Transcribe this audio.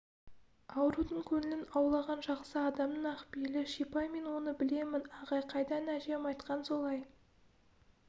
аурудың көңілін аулаған жақсы адамның ақ пейілі шипа мен оны білемін ағай қайдан әжем айтқан солай